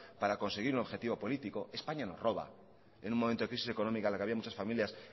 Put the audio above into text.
para conseguir un objetivo político españa nos roba en un momento de crisis económica en la que había muchas familias